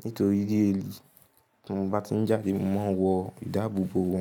nítorí léèli. Tí mo bá ti ń jáde, mo máa ń wọ ìdáàbòbò òrún.